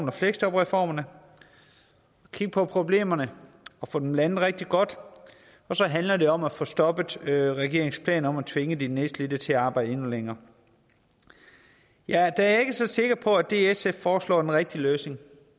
og fleksjobreformen og kigge på problemerne og få dem landet rigtig godt og så handler det om at få stoppet regeringens planer om at tvinge de nedslidte til at arbejde endnu længere jeg er dog ikke så sikker på at det sf foreslår er den rigtige løsning